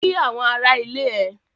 Kí àwọn ará ilé ẹ!